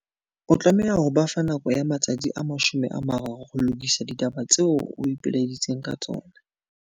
O tlameha ho ba fa nako ya matsatsi a 30 ho lokisa ditaba tseo o ipelaeditseng ka tsona.